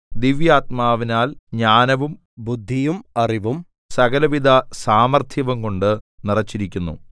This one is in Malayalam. ദിവ്യാത്മാവിനാൽ ജ്ഞാനവും ബുദ്ധിയും അറിവും സകലവിധ സാമർത്ഥ്യവുംകൊണ്ട് നിറച്ചിരിക്കുന്നു